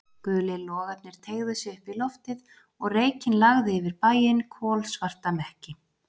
Gulir logarnir teygðu sig upp í loftið og reykinn lagði yfir bæinn, kolsvarta mekki.